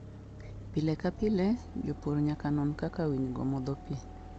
Pile ka pile, jopur nyaka non kaka winygo modho pi.